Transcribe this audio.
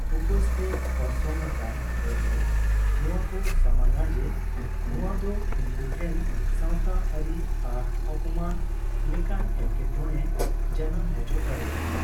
ᱩᱯᱭᱟᱺᱥ ᱛᱮ ᱚᱨᱥᱚᱝ ᱟᱠᱟᱱ ᱦᱚᱲ ᱫᱚ ᱱᱚᱣᱟ ᱠᱚ ᱥᱟᱢᱟᱝ ᱟ ᱡᱮ ᱱᱚᱣᱟ ᱫᱚ ᱩᱱᱠᱩ ᱴᱷᱮᱱ ᱥᱟᱣᱛᱟᱨᱤ ᱟᱨ ᱟᱯᱚᱱᱢᱟᱹᱱ ᱞᱮᱠᱟᱱ ᱮᱴᱠᱮᱴᱚᱬᱮᱭ ᱡᱟᱱᱟᱢ ᱦᱚᱪᱚ ᱫᱟᱲᱮᱭᱟᱜᱼᱟ ᱾